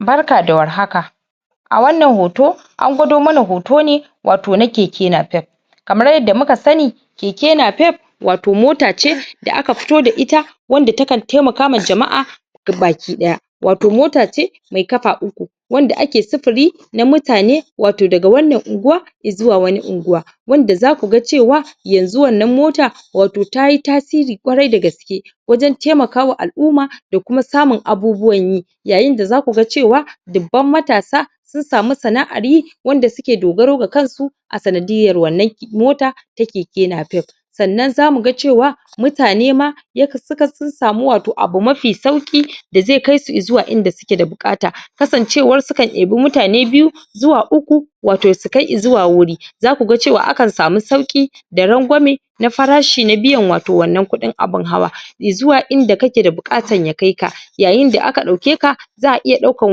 barka da war haka a wannan hoto an gwado mana hoto ne wato na kekenap kamar yadda muka sani kekenap wato mota ce da aka fito da ita wanda takan taimaka ma jama'a ga baki daya wato mota ce mai kafa uku wanda ake sufuri na mutane wato daga wannan unguwa zuwa wani unguwa wanda zaku ga cewa yanzu wannan mota wato tayi tairi ƙwarai dagaske wajen taimakawa al'umma da kuma samu abubuwan yi yayin da zaku ga cewa dubban matasa sun samu sana'ar yi wanda suke dogaro ga kan su a sandiyar wannan motan ta kekenap sannan zamu ga cewa mutane ma sun samu abu mafi sauki da zai kai sun zuwa inda suke da bukata kasan cewar sukan debi mutane biyu zuwa uku wato su kai zuwa wuri zakku ga cewa akan samu sauki da rangwame na farashi na biyan wato wannan kuɗin abun hawa zuwa inda kake da bukata ya kai ka yayin da aka dauke ka za'a iya daukan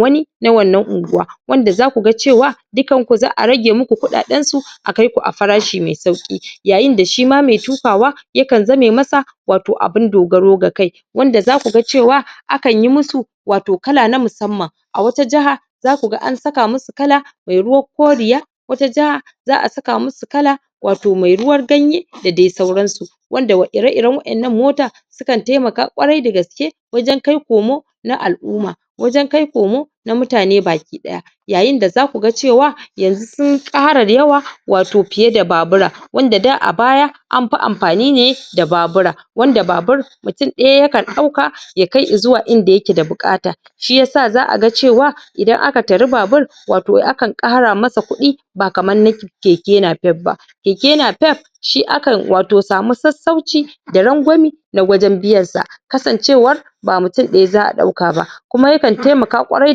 wani na wannan unguwa wanda zaku ga cewa dukkanku za'a rage muku kuɗaɗen ku za'a kai ku a farashi mai sauki yayin da shima mai tukawa yakan zame masa wato abun dogaro ga kai wanda zaku ga cewa akanyi musu wato kala na musamman a wata jaha zaku ga an saka musu kala mai ruwan koriya wata jaha za'a saka musu kala wato mai ruwan ganye da dai sauran su wanda ire iren wa'ennan mota su kan taimaka ƙwarai dagaske wajen kai komo na al'umma wajen kai komo na mutane baki daya yayin da zaku ga cewa yanzu sun kara yawa wato fiye da babura wanda da a baya an fi amfani ne da babura wanda babura mutum daya yakan dauka ya kai zuwa inda yake da bukata shiyasa za'aga cewa idan aka tari babur wato akan kara masa kuɗi ba kaman na kekenapep ba keknapep dashi akan wato samu sassauci da rangwani na wajen biyan sa kasancewar bab mutum daya za'a dauka ba kuma yakan taimaka ƙwarai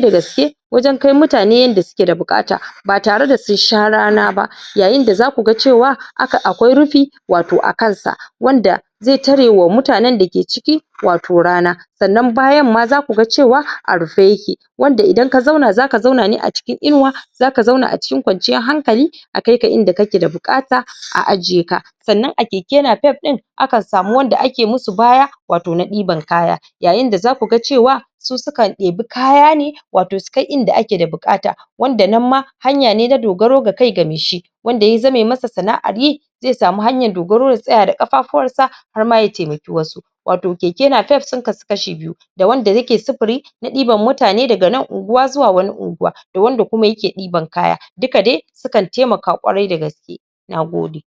dagaske wajen kai mutane yanda suke da bukata ba tare da sun sha rana ba yayin da zaku ga cewa akwai rufi wato akan sa wanda zai tare wa mutanen dake ciki wato rana sannan bayan ma zakuga cewa a rufe yake wanda indan ka zauna zaka zauna ne a cikin inuwa zaka zauna a cikin kwanciyan hankali a kai ka inda kake da bukata a ajiye ka sannan a kekenapep din akan samu wanda ake musu baya wato na diban kaya yayin da zaku ga cewa su sukan debi kaya ne su kai inda ake da bukata wanda nan ma hanya ne na dogaro ga kai ga mai shi wanda ya zame masa sana'ar yi zai samu hanyan dogaro ya tsaya da kafafuwan sa har ma ya taimaki wasu wato kekenapep sun kasu kashi biyu da wanda yake sufuri na diban mutane daga nan unguwa zuwa wani unguwa da wanda kuma yake diban kaya duka dai su kan taimaka ƙwarai dagaske nagode